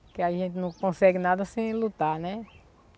Porque a gente não consegue nada sem lutar, né?